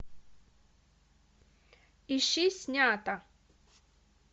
ищи снято